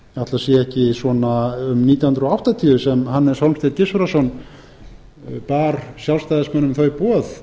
ekki verið svona um nítján hundruð áttatíu sem hannes hólmsteinn gissurarson bar sjálfstæðismönnum þau boð